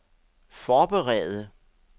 forberede